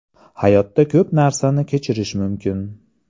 Hayotda ko‘p narsani kechirish mumkin.